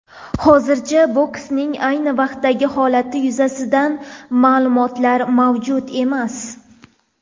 Hozircha bokschining ayni vaqtdagi holati yuzasidan ma’lumotlar mavjud emas.